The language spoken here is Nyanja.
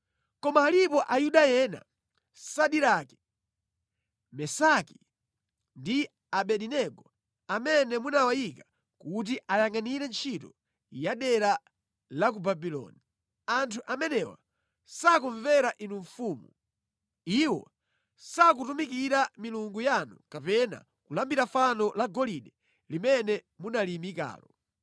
Koma alipo Ayuda ena Sadirake, Mesaki ndi Abedinego amene munawayika kuti ayangʼanire ntchito ya dera la ku Babuloni. Anthu amenewa sakumvera inu mfumu. Iwo sakutumikira milungu yanu kapena kulambira fano la golide limene munaliyimikalo.”